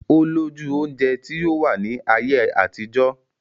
Olójú oúnjẹ tí ó wà ní ayé àtijọ́